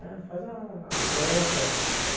É, faz a a santa.